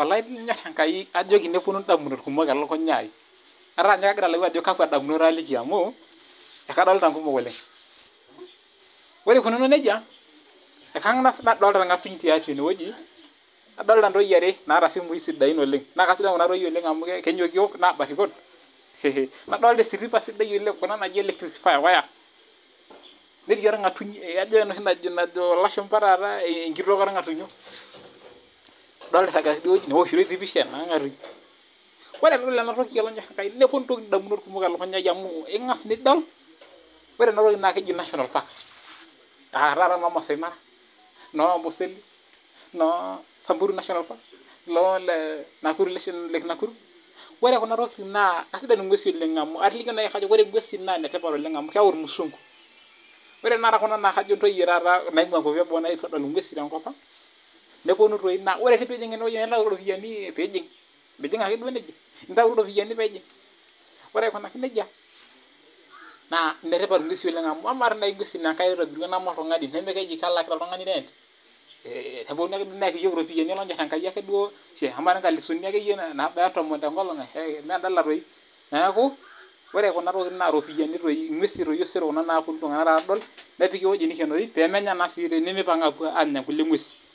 olonyor enkai kaajoki neponu indamunot kumok elukunya aai ataa nye kagira alau ajo kakua damunot aliiki amuu akadolita inkumok oleng' ore eikununo nejia kangas nadolita orng'atuny tiatua ene weji adolita intoyie aree naata isimuyi sidain oleng' naa kasidan kuna toyiee oleng' amuu kenyokiyok naa barikon nadolita esitipa sidai oleng' kuna naaji electric wire netii orng'atuny ijoo enoshi najo ilashumba enkitok oo rng'atunyo idolta iragita teidie weji ewoshitoi pisha ornga'atuny ore tenidol ena toki neponu indamunot elunyaa iii amuu ingass nidol ore enatoki naa keji national park etaae noo Masai Mara noo Amboseli noo samburu national park oree kuna tokitin naa kesidan ing'wesi amu aatolikio nai ore ing'wesi naa ine tipat oleng' amuu keyau irmusungu oree naa tanakata Kuna naa kajo intoyie naing'uua inkuapi ee boo naetuo adool ing'wesi enkop ang' neponu toi naa oree tenijing ene weji nintau iropiyani peeijing' mijing' ake duo nejia ntau iropiyani paa ijing' ore aikunaki nejia naa inetipat ing'wesi oleng amuu amaa tii naaji ing'wesin naa enkai naitobira nema oltungani nemeji kelak oltungani rent neponu neyaki iyook iropiyani olonyor enkai akee duo shiee amaa tii inkalusuni naabaya tomon tenkolong' mee endala toi nekuu oree kuna tokitin naa iropiyani toii ing'wesi kuna osero naaponu iltung'anak aadol nepiki eweji nekenori pee menya naa sii mepang'a apuo aanya kulie ng'wesin